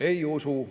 Ei usu.